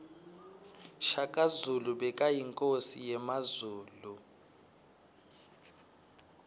shaka zulu bekayinkosi yemazulu